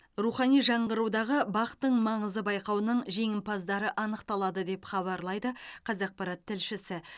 рухани жаңғырудағы бақ тың маңызы байқауының жеңімпаздары анықталады деп хабарлайды қазақпарат тілшісі